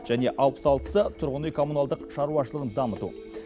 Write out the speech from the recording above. және алпыс алтысы тұрғын үй коммуналдық шаруашылығын дамыту